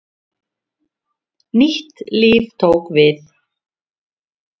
Nýtt líf tók við.